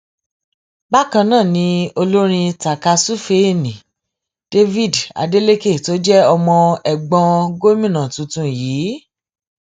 bákan náà ni olórin takàsùfèé nni david adeleke tó jẹ ọmọ ẹgbọn gómìnà tuntun yìí